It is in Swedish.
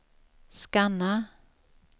scanna